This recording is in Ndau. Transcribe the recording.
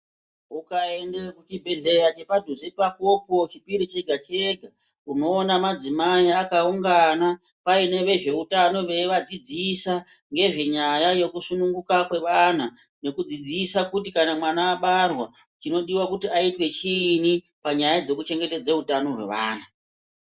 Ukaende chibhedhleya chepadhuze pakopo chipiri chega chega unoone madzimai vakaungana paine vezveutano veivadzidzisa ngezvenyaya yekusununguka kwevana, nekudzidzisa kuti kana mwana abarwa chinodiwa kuti aitwe chiinyi panyaya dzekuchengetedze utano hwevana.